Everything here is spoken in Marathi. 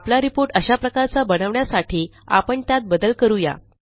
आपला रिपोर्ट अशा प्रकारचा बनवण्यासाठी आपण त्यात बदल करू या